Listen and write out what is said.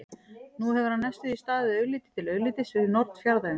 Nú hefur hann næstum því staðið augliti til auglitis við norn fjarðarins.